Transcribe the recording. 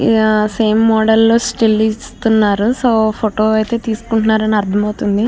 ఆ same model లో still ఇస్తున్నారు సో ఫోటో అయితే తీసుకుంటున్నారు అని అర్దం అవుతుంది.